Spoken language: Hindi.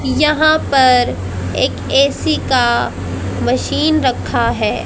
यहां पर एक ऐ_सी का मशीन रखा है।